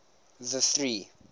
the three